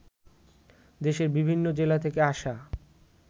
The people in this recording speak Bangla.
দেশের বিভিন্ন জেলা থেকে আসা